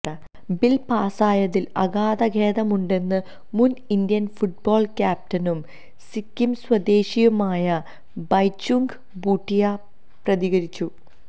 bill പാസായതില് അഗാധ ഖേദമുണ്ടെന്നു മുന് ഇന്ത്യന് ഫുട്ബോള് ക്യാപ്റ്റനും സിക്കിം സ്വദേശിയുമായ ബൈചുംഗ് ബൂട്ടിയ പ്രതികരിച്ചു